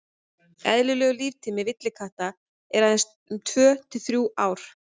eðlilegur líftími villikatta er aðeins um tvö til þrjú ár